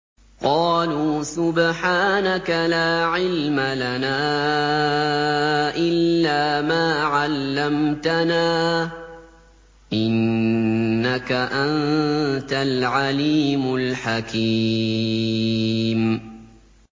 قَالُوا سُبْحَانَكَ لَا عِلْمَ لَنَا إِلَّا مَا عَلَّمْتَنَا ۖ إِنَّكَ أَنتَ الْعَلِيمُ الْحَكِيمُ